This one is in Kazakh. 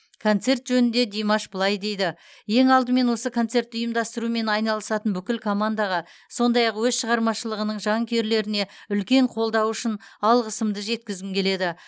концерт жөнінде димаш былай дейді ең алдымен осы концертті ұйымдастырумен айналысатын бүкіл командаға сондай ақ өз шығармашылығының жанкүйерлеріне үлкен қолдауы үшін алғысымды жеткізгім келеді